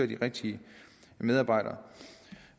de rigtige medarbejdere